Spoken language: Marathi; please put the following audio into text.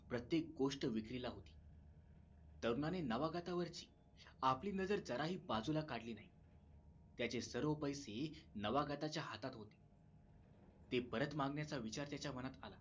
प्रत्येक गोष्ट विक्रीला होती तरुणाने नवागतावरची आपली नजर जराही बाजूला काढली नाही त्याचे सर्व पैसे नवगताच्या हातात होते ते परत मागण्याचा विचार त्याच्या मनात आला